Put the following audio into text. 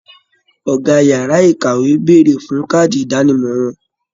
Ọgá yàrá ìkàwé béèrè fún kaadi idanimọ wọn.